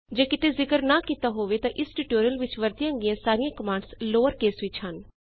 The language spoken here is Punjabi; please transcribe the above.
ਜੇ ਕਿਤੇ ਜ਼ਿਕਰ ਨਾ ਕੀਤਾ ਹੋਵੇ ਤਾਂ ਇਸ ਟਿਊਟੋਰਿਅਲ ਵਿੱਚ ਵਰਤੀਆਂ ਗਈਆਂ ਸਾਰੀਆਂ ਕਮਾੰਡਸ ਲੋਅਰ ਕੇਸ ਵਿੱਚ ਹਨ